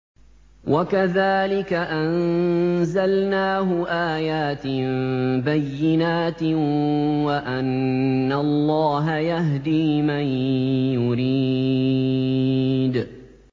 وَكَذَٰلِكَ أَنزَلْنَاهُ آيَاتٍ بَيِّنَاتٍ وَأَنَّ اللَّهَ يَهْدِي مَن يُرِيدُ